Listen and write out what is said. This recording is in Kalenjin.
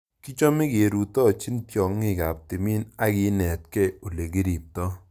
Kichame kerutochini tyong'ik ap timin ak kenetkeiy ole kiriptoi